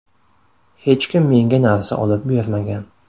Hech kim menga narsa olib bermagan.